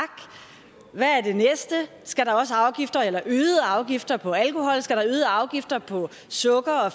hvad er det næste skal der også øgede afgifter på alkohol skal der øgede afgifter på sukker og